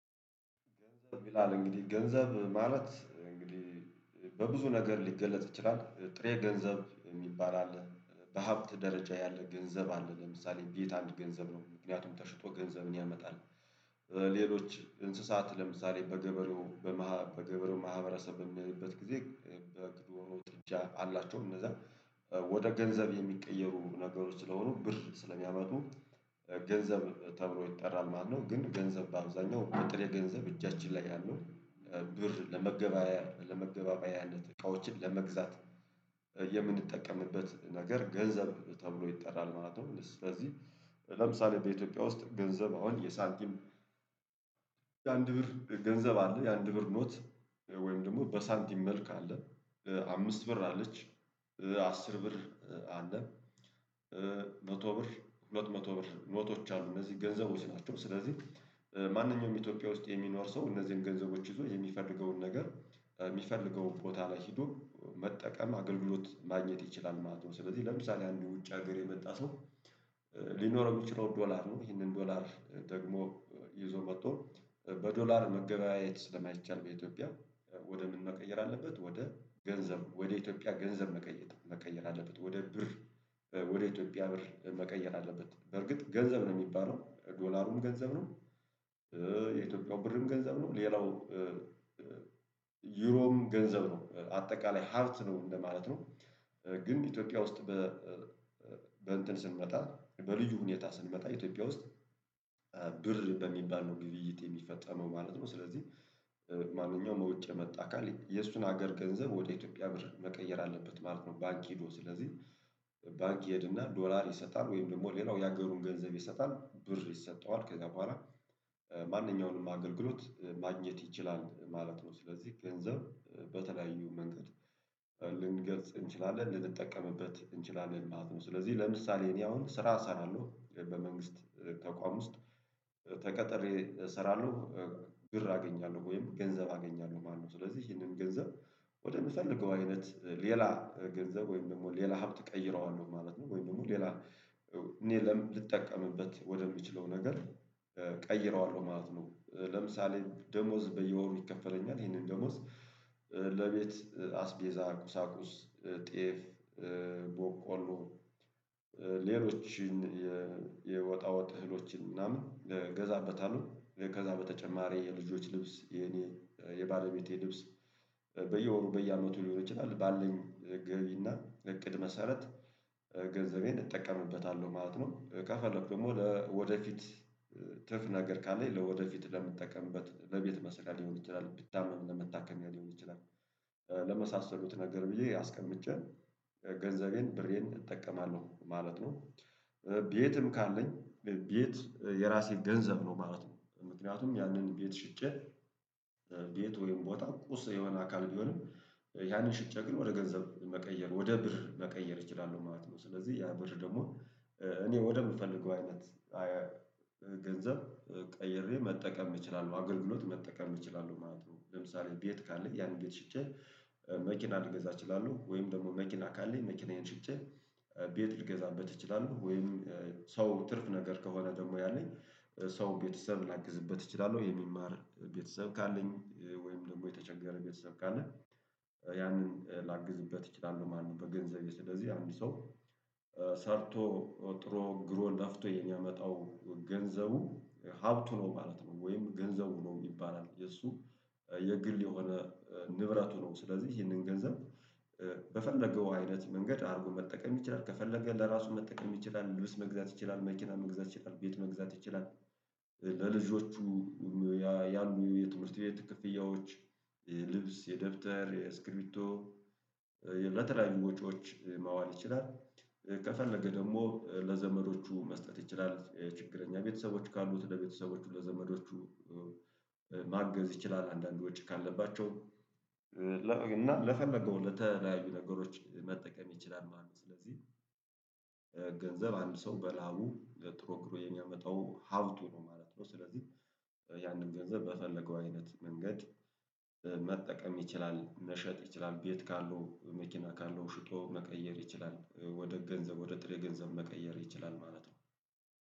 ገንዘብ ይላል እንግዲህ ገንዘብ ማለት እንግዲህ በብዙ ነገር ሊገለጥ ይችላል ጥሬ ገንዘብ የሚባል አለ በሀብት ደረጃ ያለ ገንዘብ አለ። ለምሳሌ ቤት አንድ ገንዘብ ነው ምክንያቱም ተሽጦ ገንዘብን ያመጣል። ሌሎች እንስሳት ለምሳሌ በገበሬው ማህበረሰብ በምንሄድበት ጊዜ በግ ዶሮ ጥጃ አላቸው እነዛ ወደ ገንዘብ የሚቀየሩ ነገሮች ስለሆኑ ብር ስለሚያመጡ ገንዘብ ተብሎ ይጠራል ማለት ነው። ግን ገንዘብ በአብዛኛው በጥሬ ገንዘብ እጃችን ላይ ያለው ብር ለመገበያ ለመገባባያነት እቃዎችን ለመግዛት። ነገር ገንዘብ ተብሎ ይጠራል ማለት ነው። ስለዚህ ለምሳሌ በኢትዮጵያ ውስጥ ገንዘብ አሁን የሳንቲም የአንድ ብር ገንዘብ አለ የአንድ ብር ኖት ወይም ደግሞ በሳንቲም ካለ አምስት ብር አለች አስር ብር አለ መቶ ብር ሁለት መቶ ብር ኖቶች አሉ። እነዚህ ገንዘቦች ናቸው ስለዚህ ማንኛውም ኢትዮጵያ ውስጥ የሚኖር ሰው እነዚህን ገንዘቦች ይዞ የሚፈልገውን ነገር የሚፈልገውን ቦታ ላይ ሄዶ መጠቀም አገልግሎት ማግኘት ይችላል ማለት ነው። ስለዚህ ለምሳሌ አንድ ውጭ ሀገር የመጣ ሰው። ሊኖረው የሚችለው ዶላር ነው ይሄንን ዶላር ደግሞ ይዞ መጥቶ በዶላር መገበያየት ስለማይቻል በኢትዮጵያ ወደ ምን? መቀየር አለበት ወደ ገንዘብ ወደ ኢትዮጵያ ገንዘብ መቀየር አለበት ወደ ብር ወደ ኢትዮጵያ ብር መቀየር አለበት በርግጥ ገንዘብ ነው ሚባለው ዶላሩም ገንዘብ ነው። የኢትዮጵያው ብርም ገንዘብ ነው ሌላው ዩሮም ገንዘብ ነው አጠቃላይ ሀብት ነው እንደማለት ነው። ግን ኢትዮጵያ ውስጥ በ በእንትን ስንመጣ በልዩ ሁኔታ ስንመጣ ኢትዮጵያ ውስጥ በሚባል ነው ግብይት የሚፈጸመው ማለት ነው። ስለዚህ ማንኛውም ውጭ የመጣ አካል የእሱን ሀገር ገንዘብ ወደ ኢትዮጵያ ብር መቀየር አለበት ማለት ነው። ባንክ ሄዶ ስለዚህ ባንክ ይሄድና ዶላር ይሰጣል ወይም ደግሞ ሌላው የሀገሩን ገንዘብ ይሰጣል ብር ይሰጠዋል ከዛ በኋላ ማንኛውንም አገልግሎት ማግኘት ይችላል ማለት ነው። ስለዚህ ገንዘብ በተለያዩ መንገድ ልንገልጽ እንችላለን ልንጠቀምበት እንችላለን ማለት ነው። ስለዚህ ለምሳሌ እኔ አሁን ስራ እሰራለሁ በመንግስት ተቋም ውስጥ ተቀጥሬ እሰራለሁ። ብር አገኛለሁ ወይም ገንዘብ አገኛለሁ ማለት ነው። ስለዚህ ይሄንን ገንዘብ ወደምፈልገው አይነት ሌላ ገንዘብ ወይም ደግሞ ሌላ ሀብት ቀይረዋለሁ ማለት ነው። ወይም ደግሞ ሌላ ለምን ልጠቀምበት ወደምችለው ነገር። ቀይረዋለሁ ማለት ነው። ለምሳሌ ደሞዝ በየወሩ ይከፈለኛል ይሄንን ደሞዝ ለቤት አስቤዛ ቁሳቁስ ጤፍ ቦቆሎ ሌሎችን የወጣወጥ እህሎችን ምናምን እገዛበታለሁ ከዛ በተጨማሪ የልጆች ልብስ የኔ የባለቤቴ ልብስ በየወሩ በየአመቱ ሊሆን ይችላል ባለን ገቢና እቅድ መሰረት ገንዘቤን እጠቀምበታለሁ ማለት ነው። ከፈለኩ ደግሞ ለወደፊት ትርፍ ነገር ካለኝ ለወደፊት ለምትጠቀምበት ለቤት መስረያ ሊሆን ይችላል ብታመም ለመታከሚያ ሊሆን ይችላል። ለመሳሰሉት ነገር ብዬ አስቀምጬን ገንዘቤን ብሬን እጠቀማለሁ ማለት ነው። ቤትም ካለኝ ቤት የራሴ ገንዘብ ነው ማለት ነው። ምክንያቱም ያንን ቤት ሽጬ ቤት ወይም ቦታ ቁስ የሆነ አካል ቢሆንም ያንን ሽጬ ግን ወደ ገንዘብ መቀየር ወደ ብር መቀየር እችላለሁ ማለት ነው። ስለዚህ ያ ብር ደግሞ እኔ ወደምፈልገው አይነት ገንዘብ ቀይሬ መጠቀም እችላለሁ አገልግሎት መጠቀም እችላለሁ ማለት ነው። ለምሳሌ ቤት ካለኝ ያን ቤት ሽጬ መኪና ልገዛ እችላለሁ። ወይም ደግሞ መኪና ካለ መኪናዬን ሽጬ ቤት ልገዛበት እችላለሁ። ወይም ሰው ትርፍ ነገር ከሆነ ደግሞ ያለኝ ሰው ቤተሰብ ላግዝበት እችላለሁ የሚማር ቤተሰብ ካለኝ ወይም ደግሞ የተቸገረ ቤተሰብ ካለኝ ያንን ላግዝበት እችላለሁ። ማንም በገንዘብ ስለዚህ አንድ ሰው ሰርቶ ጥሮ ግሮ ለፍቶ የሚያመጣው ገንዘቡ ሀብቱ ነው ማለት ነው። ወይም ገንዘቡ ነው ሚባል የሱ የግል የሆነ ንብረቱ ነው። ስለዚህ ይህንን ገንዘብ በፈለገው አይነት መንገድ አድርጎ መጠቀም ይችላል ከፈለገ ለራሱ መጠቀም ይችላል ልብስ መግዛት ይችላል መኪና መግዛት ይችላል ቤት መግዛት ይችላል። ለልጆቹ ያሉ የትምህርት ቤት ክፍያዎች ልብስ የደብተር የስክሪብቶ ለተለያዩ ወጪዎች ማዋል ይችላል። ከፈለገ ደግሞ ለዘመዶቹ መስጠት ይችላል የችግረኛ ቤተሰቦች ካሉት ለቤተሰቦቹ ለዘመዶቹ ማገዝ ይችላል። አንዳንድ ወጪ ካለባቸው እና ለፈለገው ለተለያዩ ነገሮች መጠቀም ይችላል ማለት ነው። ስለዚህ ገንዘብ አንድ ሰው በላው ጥሮ ግሮ የሚያመጣው ሀብቱ ነው ማለት ነው። ስለዚህ ያንን ገንዘብ በፈለገው አይነት መንገድ መጠቀም ይችላል መሸጥ ይችላል ቤት ካለው መኪና ካለው ሽጦ መቀየር ይችላል ወደ ገንዘብ ወደ ጥሬ ገንዘብ መቀየር ይችላል ማለት ነው